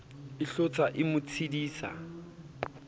e hlotsa e mo tseiditse